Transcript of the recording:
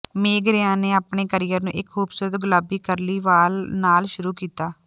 ਮੇਗ Ryan ਨੇ ਆਪਣੇ career ਨੂੰ ਇੱਕ ਖੂਬਸੂਰਤ ਗੁਲਾਬੀ ਕਰਲੀ ਵਾਲ ਨਾਲ ਸ਼ੁਰੂ ਕੀਤਾ